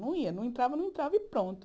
Não ia, não entrava, não entrava e pronto.